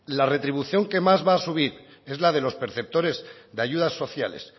la retribución que más va a subir es la de los perceptores de ayudas sociales